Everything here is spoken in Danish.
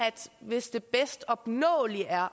hvis det bedst opnåelige er